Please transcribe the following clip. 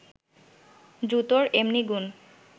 জুতোর এমনি গুণ